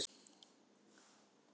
ER FYRSTI SIGUR HAUKA Á LEIÐINNI???